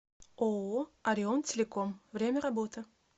ооо орион телеком время работы